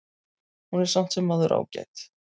Hún er samt sem áður ágæt.